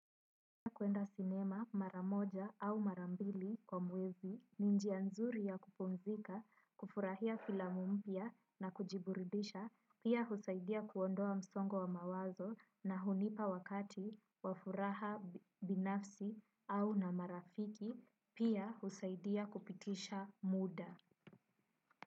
Kuenda sinema mara moja au mara mbili kwa mwezi, ni njia nzuri ya kupumzika, kufurahia filamu mpia na kujiburundisha, pia husaidia kuondoa msongo wa mawazo na hunipa wakati wa furaha binafsi au na marafiki, pia husaidia kupitisha muda.